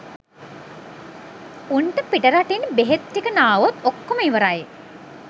උන්ට පිටරටින් බෙහෙත් ටික නාවොත් ඔක්කොම ඉවරයි